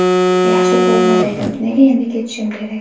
Yaxshi formada edim, nega endi ketishim kerak?